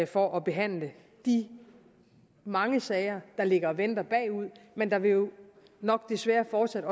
for at behandle de mange sager der ligger og venter men der vil jo nok desværre fortsat